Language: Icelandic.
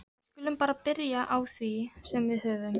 Við skulum bara byrja á því sem við höfum.